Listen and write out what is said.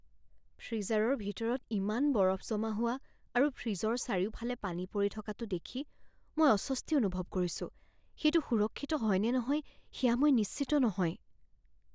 ফ্ৰীজাৰৰ ভিতৰত ইমান বৰফ জমা হোৱা আৰু ফ্ৰিজৰ চাৰিওফালে পানী পৰি থকাটো দেখি মই অস্বস্তি অনুভৱ কৰিছোঁ, সেইটো সুৰক্ষিত হয় নে নহয় সেয়া মই নিশ্চিত নহয়।